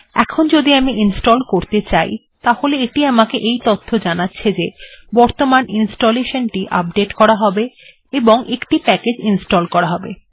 এখন যদি আমি ইনস্টল্ করতে চাই তাহলে এটি আমাকে এই তথ্য জানাবে যে বর্তমান ইনস্টলেশান টি আপডেট্ করা হবে এবং একটি প্যাকেজ্ ইনস্টল্ করা হবে